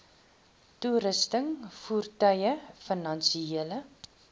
toerusting voertuie finansiële